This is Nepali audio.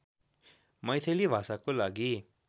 मैथिली भाषाको लागि